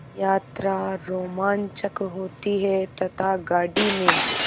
यात्रा रोमांचक होती है तथा गाड़ी में